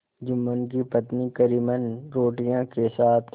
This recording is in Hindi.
जुम्मन की पत्नी करीमन रोटियों के साथ